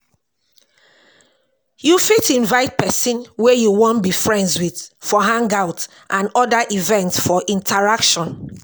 You fit invite person wey you wan be friends with for hangout and oda events for interaction